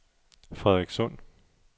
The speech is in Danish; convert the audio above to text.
Frederikssund